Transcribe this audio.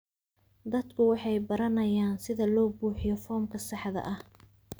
Dadku waxay baranayaan sida loo buuxiyo foomka saxda ah.